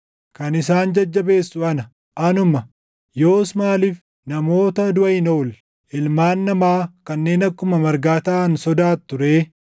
“Kan isin jajjabeessu ana; anuma. Yoos maaliif namoota duʼa hin oolle, ilmaan namaa kanneen akkuma margaa taʼan sodaattu ree?